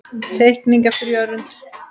Teikning eftir Jörund.